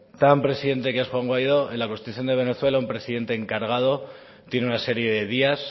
tan presidente que es juan guaidó en la constitución de venezuela un presidente encargado tiene una serie de días